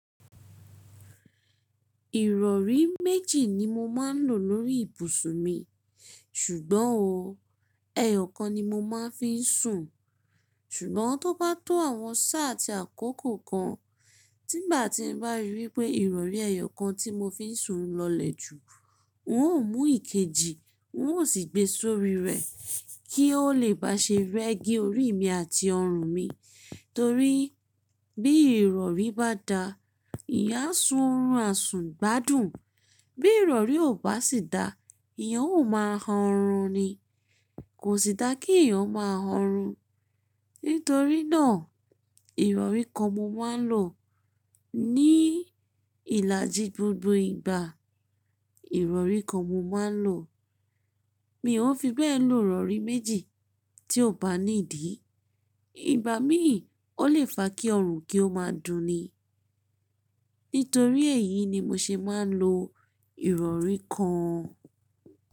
Ìrọ̀rí méjì ni mo máa ń lò lórí ìbùsùn mi, ṣùgbọ́n o, ẹyọ̀kan ni mo máa ń fi ń sùn. Ṣùgbọ́n tó bá tó àwọn sáà ti àkókò kan, tí bá ti ń bá rí pé ìrọ̀rí ẹyọ̀kan tí mo fi ń sùn lọlẹ̀ jù, n ó mú ìkejì, n ó sì gbé sórí rẹ̀ kí ó lè bá ṣe rẹ́gí orí mi àti ọrùn mi. Torí bí ìrọ̀rí bá da, ìyà sùnrún àsùn gbádùn. Bí ìrọ̀rí ò bá sì da, ìyà ó máa ń hán ọrùn ni. Kò sì dáa kí ìyà ó máa ń hán ọrùn. Nítorí náà, ìrọ̀rí kan mo máa ń lò ní ìlàjì gbogbo ìgbà. Ìrọ̀rí kan mo máa ń lò. Mi ò fi bẹ́ẹ̀ lò ìrọ̀rí méjì tí ó bá ní ìdí. Ìgbà míì ó lè fa kí ọrùn kí ó máa dùn ni. Nítorí èyí ni mo ṣe máa ń lo ìrọ̀rí kan.